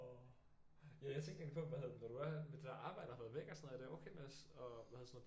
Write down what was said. Ja jeg tænkte egentlig på hvad hedder det når du er med det der arbejde og har været væk er det okay med at hvad hedder sådan noget